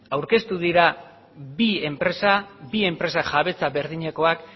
aurkeztu dira bi enpresa bi enpresa jabetza berdinekoa